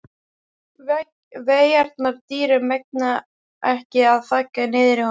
Veigarnar dýru megna ekki að þagga niður í honum.